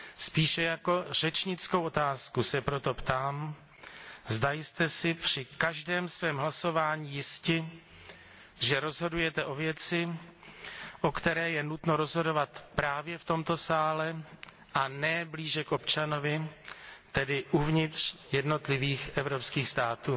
Spíše jako řečnickou otázku se proto ptám, zda jste si při každém svém hlasování jisti, že rozhodujete o věci, o které je nutno rozhodovat právě v tomto sále a ne blíže k občanovi, tedy uvnitř jednotlivých evropských států?